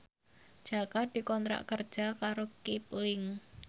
Jaka dikontrak kerja karo Kipling